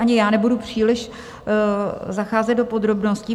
Ani já nebudu příliš zacházet do podrobností.